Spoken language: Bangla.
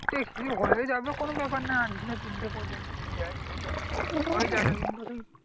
সে ঠিক হয়ে যাবে কোনো ব্যাপার না আটদিনে তিনটে project যদি দেয় তাহলে হয়ে যাবে কিন্তু সেই